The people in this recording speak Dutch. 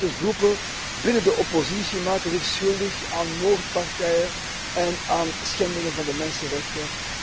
Ook bepaalde groepen binnen de oppositie maken zich schuldig aan moordpartijen en aan allerhande schendingen van de mensenrechten.